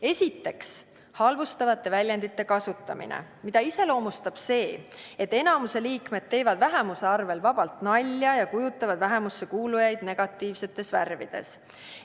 Esimene aste on halvustavate väljendite kasutamine, mida iseloomustab see, et enamuse liikmed teevad vähemuse arvel vabalt nalja ja kujutavad vähemusse kuulujaid negatiivsetes värvides.